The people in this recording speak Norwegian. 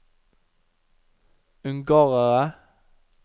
ungarere